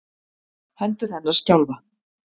Hendur hennar skjálfa.